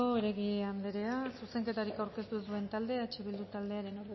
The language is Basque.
heredia andrea zuzenketarik aurkeztu ez duen taldea eh bilduren taldearen